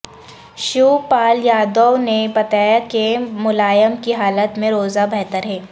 شیو پال یادو نے بتایا کہ ملائم کی حالت میں روزہ بہتر ہے